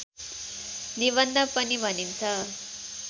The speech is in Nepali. निबन्ध पनि भनिन्छ